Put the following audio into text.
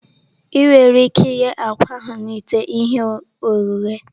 Ị nwere ike ighe akwa ahụ na ite ihe ohihe.